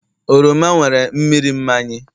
oroma nwere mmiri mmanyi